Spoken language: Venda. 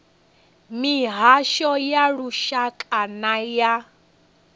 mihasho ya lushaka na ya